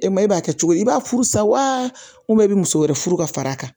E ma e b'a kɛ cogo di i b'a furu sa wa i bɛ muso wɛrɛ furu ka fara a kan